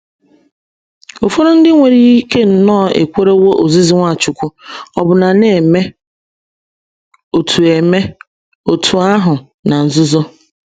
Ụfọdụ ndị nwere ike nnọọ ekwerewo ozizi Nwachukwu, ọbụna na - eme otú eme otú ahụ na nzuzo.